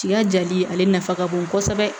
Tiga jali ale nafa ka bon kosɛbɛ